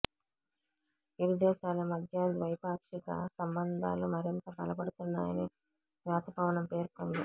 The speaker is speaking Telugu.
ఇరుదేశాల మధ్య ద్వైపాక్షిక సంబంధాలు మరింత బలపడుతున్నాయని శ్వేత భవనం పేర్కొంది